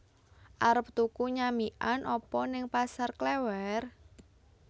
Arep tuku nyamikan apa ning Pasar Klewer?